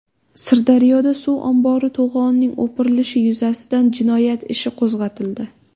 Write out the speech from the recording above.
Sirdaryoda suv ombori to‘g‘onining o‘pirilishi yuzasidan jinoyat ishi qo‘zg‘atildi.